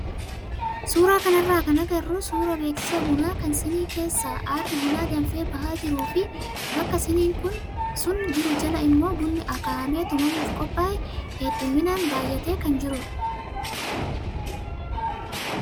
Suuraa kanarraa kan agarru suuraa beeksisa bunaa kan siinii keessaa aarri buna danfee bahaa jiruu fi baka siiniin sun jiru jala immoo bunni akaa'amee tumamuuf qophaaye hedduminaan baay'atee kan jirudha.